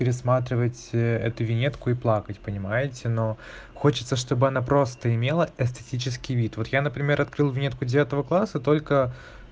пересматривать это виньетку и плакать понимаете но хочется чтобы она просто имела эстетический вид вот я например открыл виньетку девятого класса только